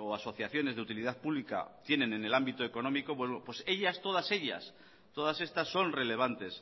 o asociaciones de utilidad pública tienen en el ámbito económico pues ellas todas ellas todas estas son relevantes